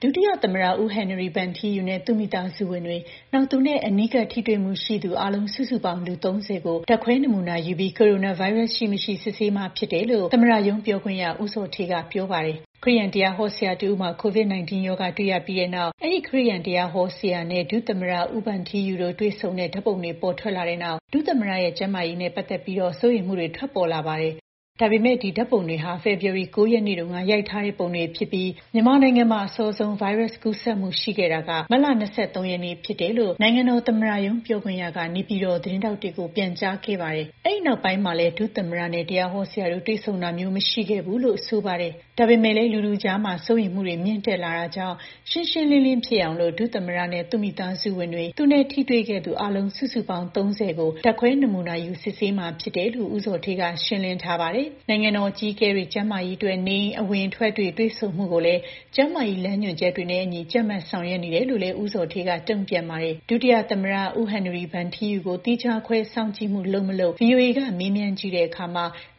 ဒုတိယ သမ္မတ ဟန်နရီဗန်ထီးယူနဲ့ သူ့မိသားစုဝင်တွေ၊ နောက် သူနဲ့အနီးကပ်ထပ်တွေမှုရှိသူ အားလုံး စုစုပေါင်း လူ ၃၀ ကို ဓါတ်ခွဲနမူနာယူပြီး ကိုရိုနာဗိုင်းရပ်စ် ရှိ၊ မရှိ စစ်ဆေးမှာဖြစ်တယ်လို့ သမ္မတရုံးပြောခွင့်ရသူ ဦးဇော်ဌေးက ပြောပါတယ်။ ခရစ်ယာန်တရားဟောဆရာ တဦးမှာ COVID-19 ရောဂါ တွေ့ရတဲ့နောက်၊ အဲဒီ ခရစ်ယာန်တရားဟောဆရာနဲ့ ဒုသမ္မတ ဦးဗန်ထီးယူတို့ တွေ့ဆုံတဲ့ ဓါတ်ပုံတွေ ပေါ်ထွက်လာတဲ့နောက် ဒုသမတရဲ့ ကျန်းမာရေးနဲ့ ပတ်သက်လို့ စိုးရိမ်မှုတွေ ထွက်ပေါ်လာပါတယ်။ ဒါပေမဲ့ ဒီ ဓါတ်ပုံတွေဟာ ဖေဖော်ဝါရီလ ၉ ရက်နေ့တုန်းက ရိုက်ထားတဲ့ ဓါတ်ပုံတွေဖြစ်ပြီး မြန်မာနိုင်ငံမှာ အစောဆုံး ဗိုင်းရပ်စ် ကူးစက်မှု ရှိခဲ့တာက မတ်လ ၂၃ ရက်နေ့ဖြစ်တယ်လို့ နိုင်ငံတော်သမ္မတရုံး ပြောခွင့်ရသူက နေပြည်တော်သတင်းထောက်တွေကို ပြန်ကြားခဲ့ပါတယ်။ အဲဒီနောက်ပိုင်းမှာလဲ ဒုသမ္မတနဲ့ တရားဟောဆရာတို့ တွေ့ဆုံတာမျိုး မရှိခဲ့ဘူးလို့ဆိုပါတယ်။ ဒါပေမဲ့လည်း လူထုအကြား စိုးရိမ်မှုတွေ မြင့်တက်လာတာကြောင့် ရှင်းရှင်းလင်းလင်းဖြစ်အောင်လို့ ဒုသမ္မတနဲ့ သူ့မိသားစုဝင်တွေ သူနဲ့ထိတွေ့ခဲ့သူ အားလုံး စုစုပေါင်း ၃၀ ကို ဓါတ်ခွဲနမူနာယူ စစ်ဆေးမှာဖြစ်တယ်လို့ ဦးဇော်ဌေးက ရှင်းလင်းထားပါတယ်။ နိုင်ငံတော် အကြီးအကဲတွေ ကျန်းမာရေးအတွက် နေအိမ်အဝင်အထွက်တွေ တွေ့ဆုံမှုတွေကိုလည်း ကျန်းမာရေးလမ်းညွှန်ချက်တွေနဲ့အညီ ကြပ်မတ်ဆောင်ရွက်နေတယ်လို့ ဦးဇော်ဌေးက တုံ့ပြန်ပါတယ်။ ဒုသမ္မတ ဗန်ထီးယူကို သီးခြားခွဲ စောင့်ကြည့်မှု လုပ်၊ မလုပ် ဗွီအိုအေက မေးမြန်းကြည့်တော့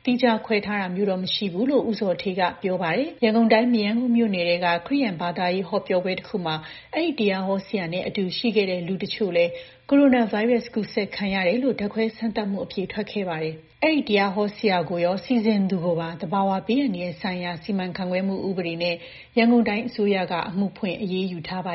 သီးခြားခွဲထားတာမျိုးတော့ မရှိဘူးလို့ ဦးဇော်ဌေးက ဖြေပါတယ်။ ရန်ကုန်တိုင်း မရမ်းကုန်းမြို့နယ်ထဲက ခရစ်ယာန်ဘာသာရေးဟောပြောပွဲ တခုမှာ အဲဒီ တရားဟောဆရာနဲ့အတူရှိခဲ့တဲ့ လူအချို့လည်း ကိုရိုနာဗိုင်းရပ်စ် ကူးစက်ခံရတယ်လို့ ဓါတ်ခွဲစမ်းသပ်မှု အဖြေထွက်ခဲ့ပါတယ်။ အဲဒီ တရားဟောဆရာကိုရော စီစဉ်သူကိုပါ သဘာဝဘေးအန္တရာယ်ဆိုင်ရာစီမံခန့်ခွဲမှုဥပဒေနဲ့ ရန်ကုန်တိုင်းအစိုးရက အမှုဖွင့်အရေးယူထားပါ